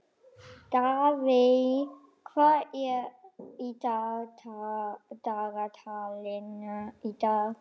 Daðey, hvað er í dagatalinu í dag?